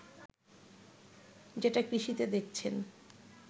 যেটা কৃষিতে দেখছেন